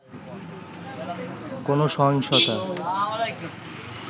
কোন সহিংসতার